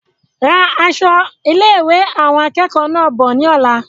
Ra àwọn aṣọ ilé-ìwé awọn akẹẹkọ náà bọ̀ ní ọ̀la